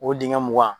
O dingɛ mugan